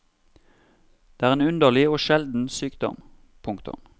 Det er en underlig og sjelden sykdom. punktum